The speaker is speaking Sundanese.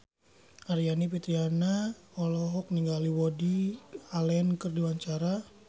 Aryani Fitriana olohok ningali Woody Allen keur diwawancara